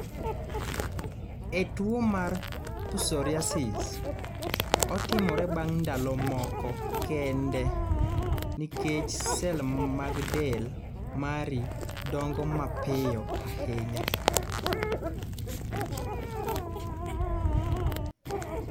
E tuwo mar psoriasis, otimore bang� ndalo moko kende nikech sel mag del mari dongo mapiyo ahinya.